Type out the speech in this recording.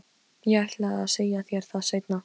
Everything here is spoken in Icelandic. Ég ætlaði að segja þér það seinna.